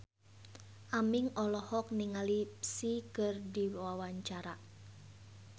Aming olohok ningali Psy keur diwawancara